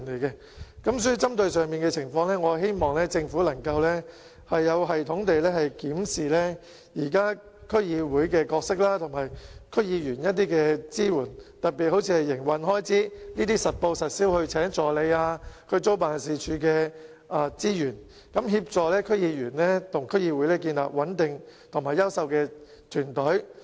因此，針對上述情況，我希望政府能夠有系統地檢視區議會現時的角色及對區議員的支援，特別是調整如聘請助理、租用辦事處等實報實銷的營運開支，協助區議員與區議會建立穩定及優秀的團隊。